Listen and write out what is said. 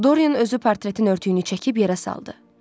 Dorian özü portretin örtüyünü çəkib yerə saldı.